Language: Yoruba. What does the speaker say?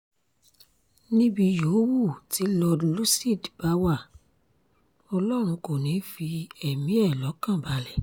níbi yòówù tí lord lúcid bá wá ọlọ́run kò ní í fi ẹ̀mí ẹ̀ lọ́kàn balẹ̀